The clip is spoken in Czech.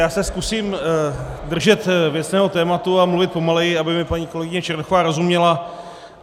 Já se zkusím držet věcného tématu a mluvit pomaleji, aby mi paní kolegyně Černochová rozuměla.